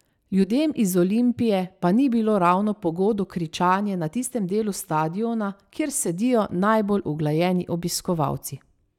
Ljudem iz Olimpije pa ni bilo ravno po godu kričanje na tistem delu stadiona, kjer sedijo najbolj uglajeni obiskovalci ...